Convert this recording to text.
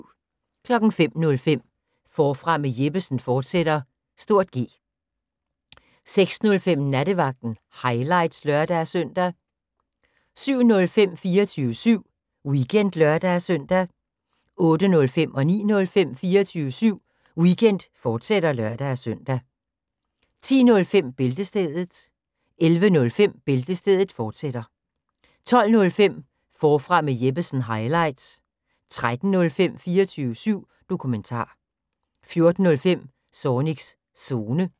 05:05: Forfra med Jeppesen fortsat (G) 06:05: Nattevagten – highlights (lør-søn) 07:05: 24syv Weekend (lør-søn) 08:05: 24syv Weekend, fortsat (lør-søn) 09:05: 24syv Weekend, fortsat (lør-søn) 10:05: Bæltestedet 11:05: Bæltestedet, fortsat 12:05: Forfra med Jeppesen – highlights 13:05: 24syv Dokumentar 14:05: Zornigs Zone